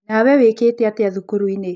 Nawe wĩkĩte atĩa thukuru-inĩ.